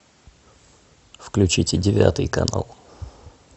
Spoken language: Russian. включите девятый канал